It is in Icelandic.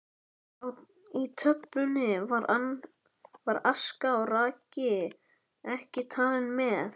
Í töflunni eru aska og raki ekki talin með.